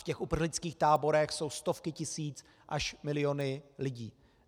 V těch uprchlických táborech jsou stovky tisíc až miliony lidí.